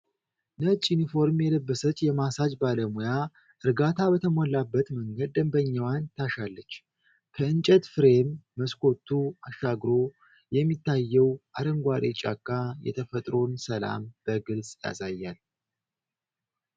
ነጭ ዩኒፎርም የለበሰች የማሳጅ ባለሙያ እርጋታ በተሞላበት መንገድ ደንበኛዋን ታሻለች። ከእንጨት ፍሬም መስኮቱ አሻግሮ የሚታየው አረንጓዴ ጫካ የተፈጥሮን ሰላም በግልጽ ያሳያል።